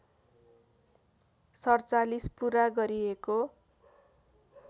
४७ पुरा गरिएको